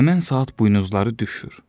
həmin saat buynuzları düşür.